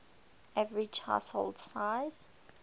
average household size